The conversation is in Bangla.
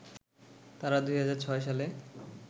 তারা ২০০৬ সালে